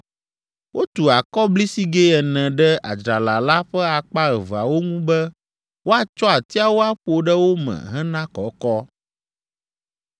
Wotu akɔblisigɛ ene ɖe adzrala la ƒe akpa eveawo ŋu be woatsɔ atiawo aƒo ɖe wo me hena ekɔkɔ.